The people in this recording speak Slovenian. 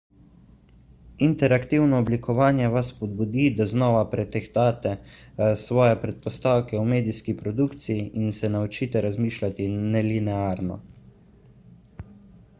interaktivno oblikovanje vas spodbudi da znova pretehtate svoje predpostavke o medijski produkciji in se naučite razmišljati nelinearno